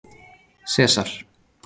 Sesar